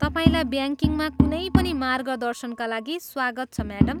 तपाईँलाई ब्याङ्किङमा कुनै पनि मार्गदर्शनका लागि स्वागत छ, म्याडम।